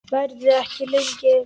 Verðum ekki lengi.